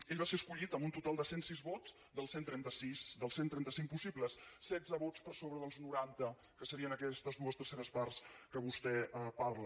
ell va ser escollit amb un total de cent sis vots dels cent trenta cinc possibles setze vots per sobre dels noranta que serien aquestes dues terceres parts de què vostè parla